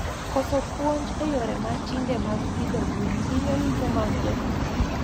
Koso puonj e yore matinde mag pidho gwen hinyo yuto mag jopith